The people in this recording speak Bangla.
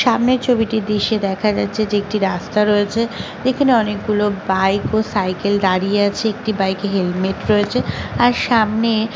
সামনের ছবিটির দৃশ্যে দেখা যাচ্ছে যে একটি রাস্তা রয়েছে এখানে অনেকগুলো বাইক ও সাইকেল দাঁড়িয়ে আছে একটি বাইক হেলমেট রয়েছে আর সামনে--